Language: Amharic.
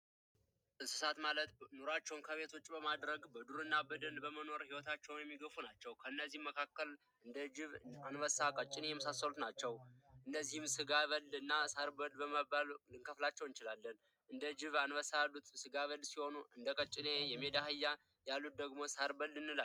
እንስሳት ማለት ኑሯቸውን ከቤት ውጪ በማድረግ በዱር እና በደን ኑሯቸውን የሚገፉ ናቸው ከነዚህም መካከል እንደ ጅብ ቀጭኔ የመሳሰሉት ናቸው እነዚህን ሳርበልና ስጋብል በመባል ልንከፍላቸው እንችላለን እንደ ጅብ አንበሳ ያሉት ጋ በል ሲሆኑ እንደቀጨኔ የሚዳ አህያ ያሉት ደግሞ ሳርበል እንላቸዋለን።